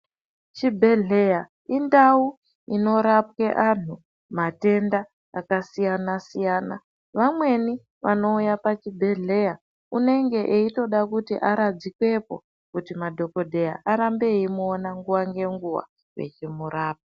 Chibhedhleya indawu inorape anhu matenda akasiyana siyana vamweni vanouya pachibhedhlrya unenge weyitoda kuti aradzikwepo kuti madhokodheya arambe eyimuona nguwa nenguwa vechimurapa.